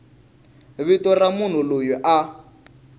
vito ra munhu loyi a